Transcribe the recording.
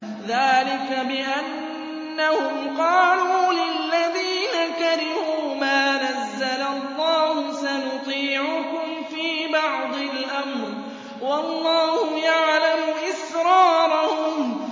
ذَٰلِكَ بِأَنَّهُمْ قَالُوا لِلَّذِينَ كَرِهُوا مَا نَزَّلَ اللَّهُ سَنُطِيعُكُمْ فِي بَعْضِ الْأَمْرِ ۖ وَاللَّهُ يَعْلَمُ إِسْرَارَهُمْ